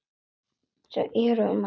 Þau eru um Ekkert.